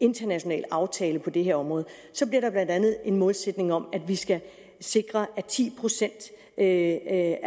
international aftale på det her område så bliver der blandt andet en målsætning om at vi skal sikre at ti procent af